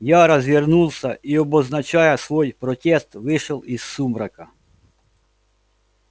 я развернулся и обозначая свой протест вышел из сумрака